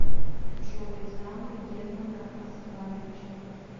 джой замы германа оскаровича